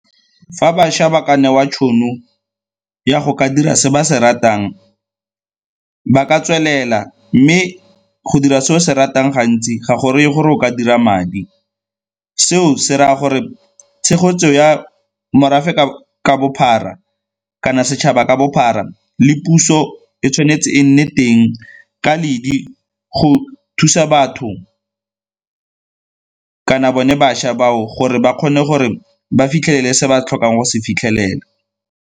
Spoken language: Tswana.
Fa bašwa ba ka newa tšhono ya go ka dira se ba se ratang, ba ka tswelela mme go dira se o se ratang gantsi ga go reye gore o ka dira madi. Seo se raya gore tshegetso ya morafe ka bophara kana setšhaba ka bophara le puso e tshwanetse e nne teng ka ledi go thusa batho kana bone bašwa bao gore ba kgone gore ba fitlhelele se ba tlhokang go se fitlhelela.